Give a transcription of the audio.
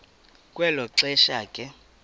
kwelo xesha ke